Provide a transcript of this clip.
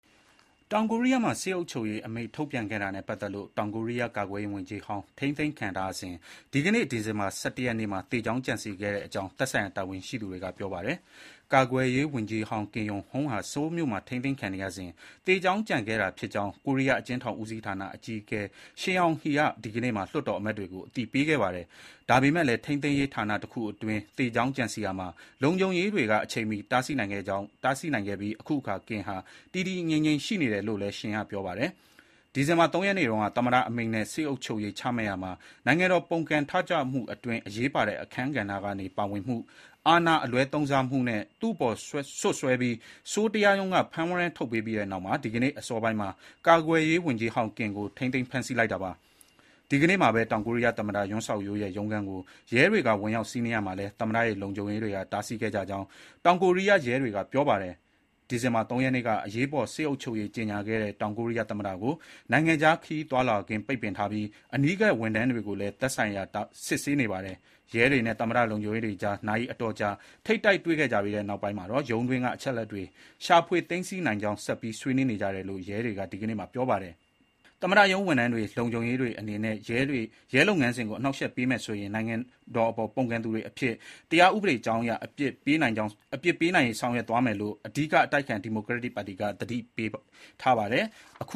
တောင်ကိုရီးယားမှာ စစ်အုပ်ချုပ်ရေးအမိန့်ထုတ်ပြန်ခဲ့တာနဲ့ပတ်သက်လို့ ထိန်းသိမ်းခံထားရတဲ့ တောင်ကိုရီးယား ကာကွယ်ရေးဝန်ကြီးဟောင်းဟာ ဒီကနေ့မှာ သေကြောင်းကြံစည်ခဲ့ကြောင်း သက်ဆိုင်ရာတာဝန်ရှိသူတွေက ပြောပါတယ်။ ကာကွယ်ရေးဝန်ကြီးဟောင်း Kim Yong-hyun (ကင် ရုံဟန်) ဟာ ဆိုးလ်မြို့မှာ ထိန်းသိမ်းခံနေရစဥ် သေကြောင်းကြံခဲ့တာဖြစ်ကြောင်း ကိုရီးယား အကျဥ်းထောင်ဦးစီးဌာန အကြီးအကဲ Shin Yong Hae (ရှင် ရုံဟေး) က ဒီကနေ့မှာ လွှတ်တော်အမတ်တွေကို အသိပေးခဲ့ပါတယ်။ ဒါပေမယ့်လည်း ထိန်းသိမ်း ရေးဌာနတခုအတွင်း သေကြောင်းကြံစည်ရာမှာ လုံခြုံရေးတွေက အချိန်မီတားဆီးနိုင်ခဲ့ပြီး ခုအခါ Kim ဟာ တည်တည်ငြိမ်ငြိမ် ရှိနေတယ်လို့လည်း Shin က ပြောပါတယ်။ ဒီဇင်ဘာ ၃ ရက်နေ့တုန်းက သမ္မတအမိန့်နဲ့ စစ်အုပ်ချုပ်ရေးချမှတ်ရာမှာ နိုင်ငံတော်ပုန်ကန်ထကြွမှု အတွင်း အရေးပါတဲ့အခန်းဂဏ္ဍကနေ ပါဝင်မှု၊ အာဏာအလွဲသုံးစားမှုနဲ့ သူ့အပေါ် စွပ်စွဲပြီး ဆိုးလ် တရားရုံးက ဖမ်းဝရမ်းထုတ်ပေးပြီးနောက် ဒီကနေ့အစောပိုင်းမှာ ကာကွယ်ရေးဝန်ကြီးဟောင်း Kim ကို ထိန်းသိမ်းဖမ်းဆီးလိုက်တာပါ။ ဒီကနေ့မှာပဲ တောင်ကိုရီးယား သမ္မတ Yoon Suk Yeol (ယွန် စက်ခ် ရိုးလ်) ရဲ့ ရုံးခန်းကို ရဲတွေက ဝင်ရောက်စီးနင်းရာမှာလည်း သမ္မတရဲ့ လုံခြုံရေးတွေက တားဆီးခဲ့ကြကြောင်း တောင်ကိုရီးယား ရဲတွေက ပြောပါတယ်။ ဒီဇင်္ဘာ ၃ ရက်နေ့က အရေးပေါ် စစ်အုပ်ချုပ်ရေး ကြေညာခဲ့တဲ့ တောင်ကိုရီးယားသမ္မတကို နိုင်ငံခြားခရီးသွားလာခွင့် ပိတ်ပင်ထားပြီး အနီးကပ် ဝန်ထမ်းတွေကိုလည်း သက်ဆိုင်ရာ စစ်ဆေးနေတာပါ။ ရဲတွေနဲ့ သမ္မတရုံးလုံခြုံရေးတွေကြား နာရီအတော်ကြာ ထိပ်တိုက် တွေ့ခဲ့ကြပြီးနောက် ရုံးတွင်းက အချက်အလက်တွေ ရှာဖွေသိမ်းဆည်းနိုင်ရေး ဆက်ပြီး ဆွေးနွေးနေကြတယ်လို့ ရဲတွေက ဒီညနေမှာ ပြောပါတယ်။ သမ္မတရုံး ဝန်ထမ်းတွေ၊ လုံခြုံရေးတွေအနေနဲ့ ရဲလုပ်ငန်းစဥ်ကို အနှောင့်အယှက်ပေးမယ်ဆိုရင် နိုင်ငံတော်အပေါ် ပုန်ကန်သူတွေအဖြစ် တရားဥပဒေကြောင်းအရ အပြစ်ပေးနိုင်ရေး ဆောင်ရွက်သွား မယ်လို့ အဓိကအတိုက်အခံ ဒီမိုကရက်တစ်ပါတီက သတိပေးထားပါတယ်။ အတိ